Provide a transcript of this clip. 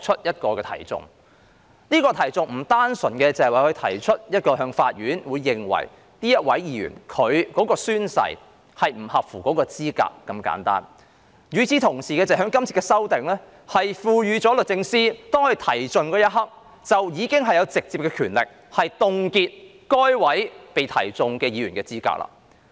有關訴訟並非單純律政司司長向法院提出議員的宣誓不符合資格那麼簡單，這次修訂亦同時讓律政司司長在提起訴訟的一刻，擁有直接權力凍結該名議員的資格。